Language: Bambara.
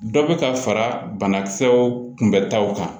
Dɔ bɛ ka fara banakisɛw kunbɛtaw kan